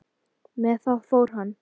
Með það fór hann.